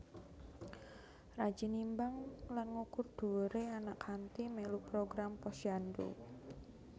Rajin nimbang lan ngukur dhuwure anak kanthi melu program Posyandu